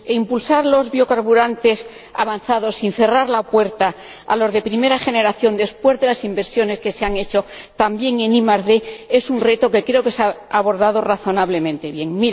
Impulsar los biocarburantes avanzados sin cerrar la puerta a los de primera generación, después de las inversiones que se han hecho, también en ID, es un reto que creo que se ha abordado razonablemente bien.